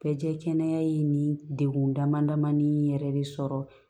Bɛɛ kɛnɛya ye nin degun damadamai yɛrɛ de sɔrɔ